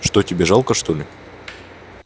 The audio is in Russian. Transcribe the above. что тебе жалко что ли